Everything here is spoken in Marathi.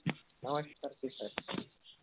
नमस्कारजी